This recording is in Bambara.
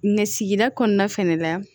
Mɛ sigida kɔnɔna fɛnɛ la